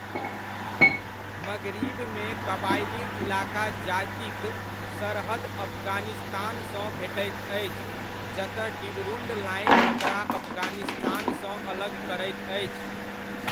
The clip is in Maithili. मग़रिब मे क़बायली इलाका जाति क सरहद अफ़ग़ानिस्तान सँ भेटैत अछि जतय डीवरुणड लाइन ओकरा अफ़ग़ानिस्तान सँ अलग करैत अछि।